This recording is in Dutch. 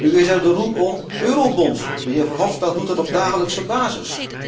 Nu is er de roep om eurobonds. De heer Verhofstadt doet dat op dagelijkse basis.